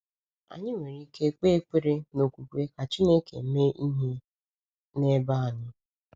Anyị nwere ike kpee ekpere n’okwukwe ka Chineke mee ihe n’ebe anyị.